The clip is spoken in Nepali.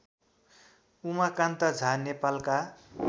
उमाकान्त झा नेपालका